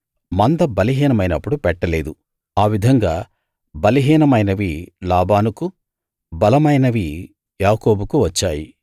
మంద బలహీనమైనప్పుడు పెట్టలేదు ఆ విధంగా బలహీనమైనవి లాబానుకూ బలమైనవి యాకోబుకూ వచ్చాయి